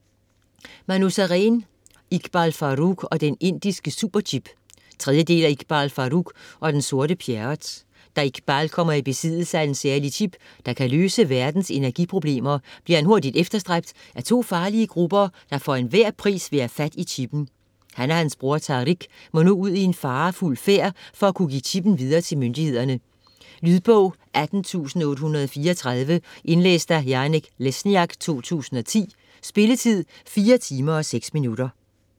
Sareen, Manu: Iqbal Farooq og den indiske superchip 3. del af Iqbal Farooq og den sorte Pjerrot. Da Igbal kommer i besiddelse af en særlig chip, der kan løse verdens energiproblemer, bliver han hurtigt efterstræbt af to farlige grupper, der for enhver pris vil have fat i chippen. Han og hans bror, Tariq, må nu ud i en farefuld færd for at kunne give chippen videre til myndighederne. Lydbog 18834 Indlæst af Janek Lesniak, 2010. Spilletid: 4 timer, 6 minutter.